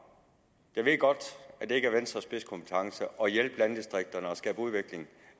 jeg ved godt det ikke er venstres spidskompetence at hjælpe landdistrikterne og skabe udvikling